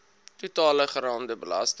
totale geraamde belasting